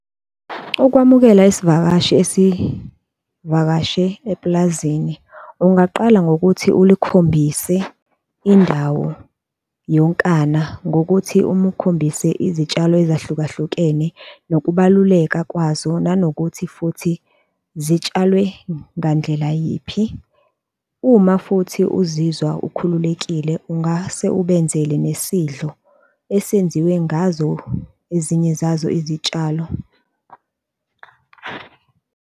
Ukwamukela isivakashi esivakashe epulazini, ungaqala ngokuthi ulikhombise indawo yonkana ngokuthi umukhombise izitshalo ezahlukehlukene nokubaluleka kwazo nanokuthi futhi zitshalwe ngandlela yiphi. Uma futhi uzizwa ukhululekile ungase ubenzele nesidlo esenziwe ngazo ezinye zazo izitshalo.